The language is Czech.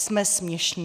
Jsme směšní.